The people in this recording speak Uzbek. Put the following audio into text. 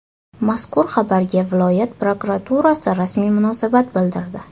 Mazkur xabarga viloyat prokuraturasi rasmiy munosabat bildirdi.